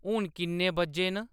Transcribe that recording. हून किन्ने बज्जे न